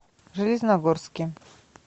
железногорске